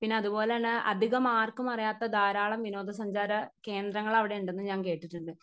Speaker 1 പിന്നെ അതുപോലെ തന്നെ അധികമാർക്കും അറിയാത്ത ധാരാളം വിനോദ സഞ്ചാര കേന്ദ്രങ്ങൾ അവിടെ ഉണ്ടെന്ന് ഞാൻ കേട്ടിട്ടുണ്ട്.